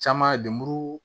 Caman de muru